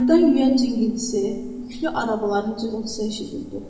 Bayırdan yüyən cingiltisi, yüklü arabaların cırıltısı eşidildi.